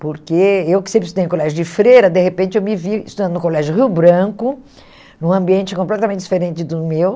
Porque eu que sempre estudei no colégio de Freira, de repente eu me vi estudando no colégio Rio Branco, num ambiente completamente diferente do meu.